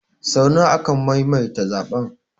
Sau nawa aka maimaita zaɓen?